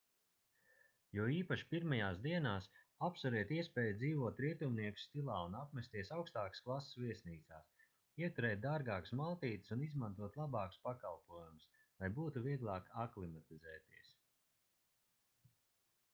jo īpaši pirmajās dienās apsveriet iespēju dzīvot rietumnieku stilā un apmesties augstākas klases viesnīcās ieturēt dārgākas maltītes un izmantot labākus pakalpojumus lai būtu vieglāk aklimatizēties